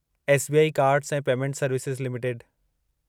SBI cards ऐं payment services limited